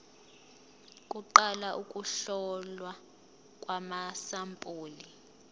kuqala ukuhlolwa kwamasampuli